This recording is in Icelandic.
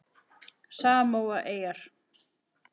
Samóaeyjar